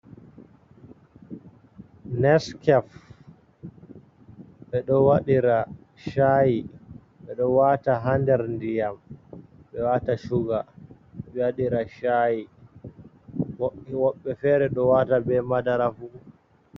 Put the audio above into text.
Neskef, ɓeɗo waɗira sha'i ɓeɗo wata ha nder ndiyam ɓe wata shuga ɓe waɗira sha'i, woɓbe fere ɗo wata be madarafu.